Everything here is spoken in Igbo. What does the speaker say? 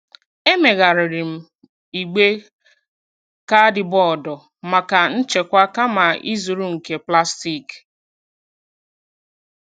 Emegharịrị m igbe kaadịbọọdụ maka nchekwa kama ịzụrụ nke plastik.